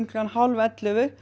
klukkan hálf ellefu